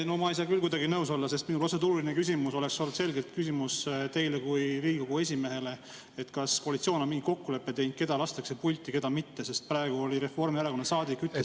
No ma ei saa küll kuidagi nõus olla, sest minu protseduuriline küsimus oleks olnud selgelt küsimus teile kui Riigikogu esimehele: kas koalitsioon on mingi kokkuleppe teinud, keda lastakse pulti, keda mitte, sest praegu Reformierakonna saadik ütles …